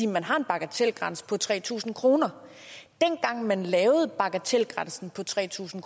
man har en bagatelgrænse på tre tusind kroner dengang man lavede bagatelgrænsen på tre tusind